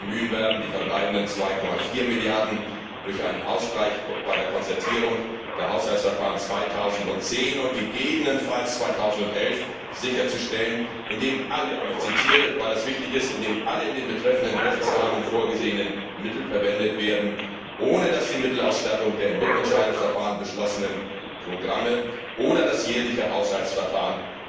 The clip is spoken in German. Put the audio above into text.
Wir werden uns bemühen, die verbleibenden 2,4 Milliarden durch einen Ausgleich bei der Konzertierung der Haushaltsverfahren 2010 und gegebenenfalls 2011 sicherzustellen, indem alle und ich zitiere, weil es wichtig ist indem alle in dem betreffenden Rechtsrahmen vorgesehenen Mittel verwendet werden, ohne dass die Mittelausstattung der im Mitentscheidungsverfahren beschlossenen Programme oder das jährliche Haushaltsverfahren